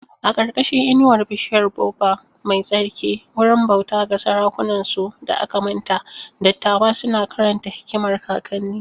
A ƙarƙashin inuwar bishiyar baobab mai tsarki, wurin bauta ga sarakunansu da aka manta, dattawa suna karanta hikimar kakanni.